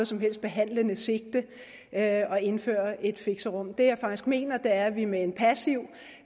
som helst behandlende sigte at indføre et fixerum det jeg faktisk mener er at vi med en passiv